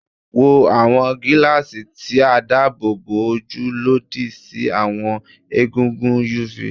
Wọ awọn gilaasi ti o daabobo oju lodi si awọn egungun UV